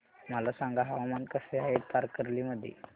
मला सांगा हवामान कसे आहे तारकर्ली मध्ये